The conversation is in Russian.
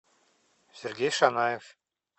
сергей шанаев